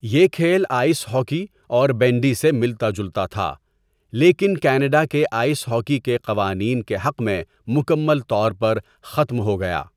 یہ کھیل ice hockey اور بینڈی سے ملتا جلتا تھا، لیکن کینیڈا کے آئس ہاکی کے قوانین کے حق میں مکمل طور پر ختم ہو گیا۔